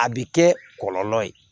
A bɛ kɛ kɔlɔlɔ ye